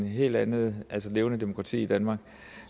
helt andet levende demokrati i danmark